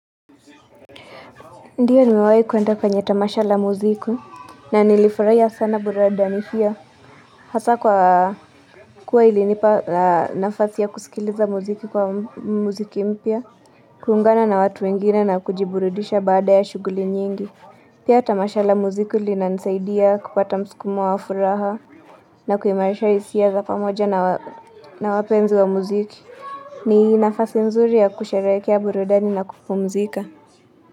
Ndio nimewahi kuenda kwenye tamasha la muziki, na nilifurahia sana burudani hio, hasa kwa kuwa ilinipa nafasi ya kusikiliza muziki kwa muziki mpya, kuungana na watu wengine na kujiburudisha baada ya shughuli nyingi. Pia tamasha la muziki linanisaidia kupata msukumo wa furaha, na kuimarisha hisia za pamoja na wapenzi wa muziki. Ni nafasi nzuri ya kusherehekea burudani na kupumzika.